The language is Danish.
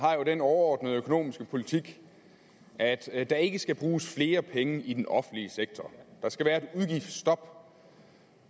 har jo den overordnede økonomiske politik at at der ikke skal bruges flere penge i den offentlige sektor der skal være et udgiftsstop